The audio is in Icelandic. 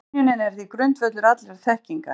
Skynjunin er því grundvöllur allrar þekkingar.